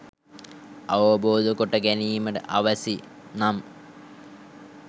අවබෝධ කොටගැනීමට අවැසි නම්